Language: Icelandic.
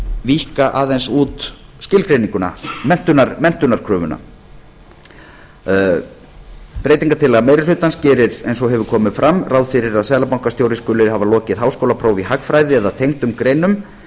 víkka aðeins út skilgreininguna menntunarkröfuna breytingartillaga meiri hlutans gerir eins og hefur komið fram ráð fyrir að seðlabankastjóri skuli hafa lokið háskólaprófi í hagfræði eða tengdum greinum